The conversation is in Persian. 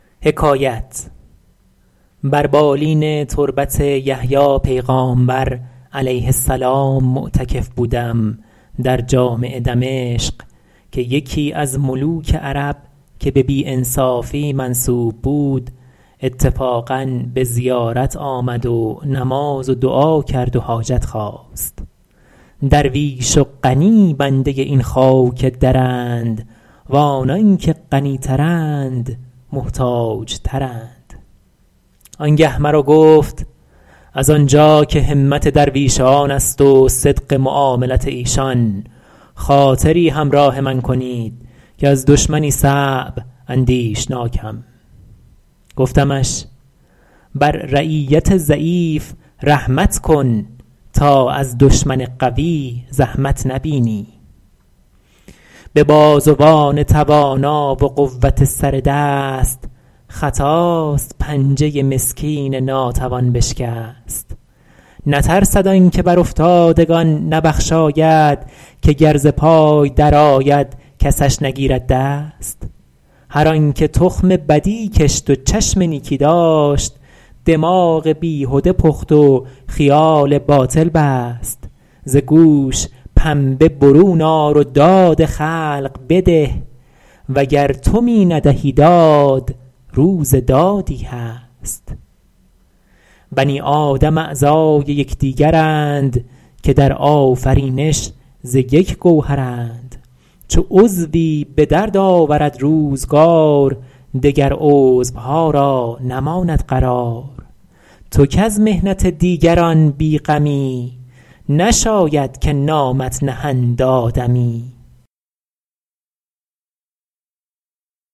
بر بالین تربت یحیی پیغامبر -علیه السلام- معتکف بودم در جامع دمشق که یکی از ملوک عرب که به بی انصافی منسوب بود اتفاقا به زیارت آمد و نماز و دعا کرد و حاجت خواست درویش و غنی بنده این خاک درند و آنان که غنی ترند محتاج ترند آن گه مرا گفت از آن جا که همت درویشان است و صدق معاملت ایشان خاطری همراه من کنید که از دشمنی صعب اندیشناکم گفتمش بر رعیت ضعیف رحمت کن تا از دشمن قوی زحمت نبینی به بازوان توانا و قوت سر دست خطاست پنجه مسکین ناتوان بشکست نترسد آن که بر افتادگان نبخشاید که گر ز پای در آید کسش نگیرد دست هر آن که تخم بدی کشت و چشم نیکی داشت دماغ بیهده پخت و خیال باطل بست ز گوش پنبه برون آر و داد خلق بده وگر تو می ندهی داد روز دادی هست بنی آدم اعضای یکدیگرند که در آفرینش ز یک گوهرند چو عضوی به درد آورد روزگار دگر عضوها را نماند قرار تو کز محنت دیگران بی غمی نشاید که نامت نهند آدمی